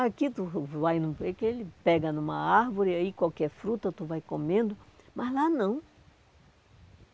Aqui tu tu vai, ele pega numa árvore, aí qualquer fruta tu vai comendo, mas lá não.